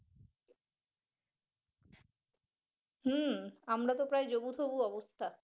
হম আমরা তো প্রায় যবু তবু অবস্থা।